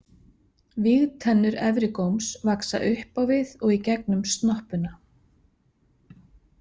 Vígtennur efri góms vaxa upp á við og í gegnum snoppuna.